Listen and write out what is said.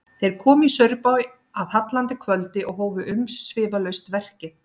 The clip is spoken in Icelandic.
Þeir komu í Saurbæ að hallandi kvöldi og hófu umsvifalaust verkið.